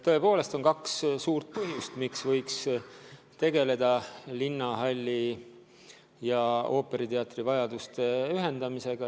Tõepoolest on kaks suurt põhjust, miks võiks tegeleda linnahalli ja ooperiteatri vajaduste ühendamisega.